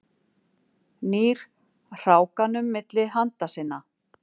Nýr hrákanum milli handa sinna.